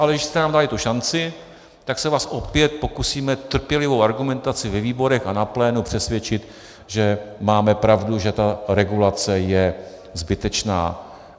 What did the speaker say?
Ale když jste nám dali tu šanci, tak se vás opět pokusíme trpělivou argumentací ve výborech a na plénu přesvědčit, že máme pravdu, že ta regulace je zbytečná.